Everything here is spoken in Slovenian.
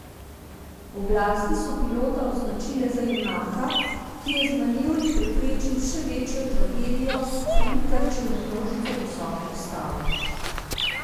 Oblasti so pilota označile za junaka, ki je z manevri preprečil še večjo tragedijo, saj ni trčil v množico visokih stavb.